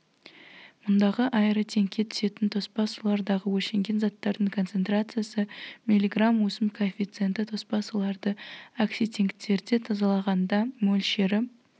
мұндағы аэротенкке түсетін тоспа сулардағы өлшенген заттардың концентрациясы миллиграмм өсім коэффициенті тоспа суларды окситенктерде тазалағанда мөлшері